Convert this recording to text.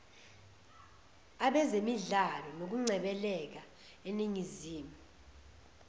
abezemidlalo nokungcebeleka eningizimu